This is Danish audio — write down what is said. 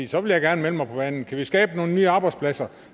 så vil jeg gerne melde mig på banen kan vi skabe nogle nye arbejdspladser